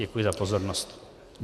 Děkuji za pozornost.